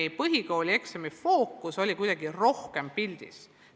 Ja põhikoolieksamid olid kuidagi rohkem pildil.